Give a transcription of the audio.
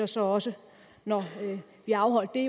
så også når vi har afholdt det